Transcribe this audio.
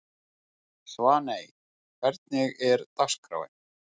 Svaney, hvernig er dagskráin?